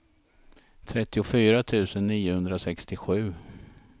trettiofyra tusen niohundrasextiosju